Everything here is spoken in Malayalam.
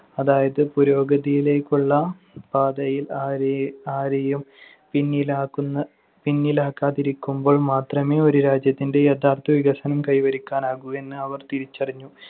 അതായത് പുരോഗതിയിലേക്കുള്ള പാതയിൽ ആരെ~ ആരെയും പിന്നിലാക്കുന്ന~ പിന്നിലാക്കാതിരിക്കുമ്പോൾ മാത്രമേ ഒരു രാജ്യത്തിന്‍റെ യഥാർത്ഥ വികസനം കൈവരിക്കാനാകൂ എന്ന് അവർ തിരിച്ചറിഞ്ഞു.